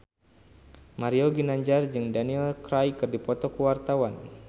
Mario Ginanjar jeung Daniel Craig keur dipoto ku wartawan